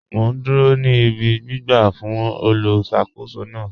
Mọ̀ n dúró ní ìbí gbìgbà fún olùṣakòsó náà